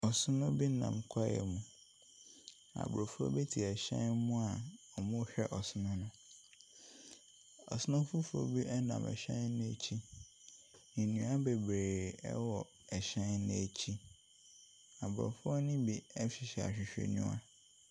Ɔsono bi nam kwaeɛ mu, na Aborɔfo ɛte hyɛn mu a wɔrehwɛ ɔsono no. Ɔsono foforo bi ɛnam hyɛn no akyi na nnua bebree ɛwɔ hyɛn no akyi. Aborɔfoɔ no bi ɛhyɛ ahwehwɛniwa.